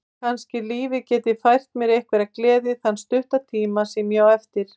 Kannski lífið geti fært mér einhverja gleði þann stutta tíma sem ég á eftir.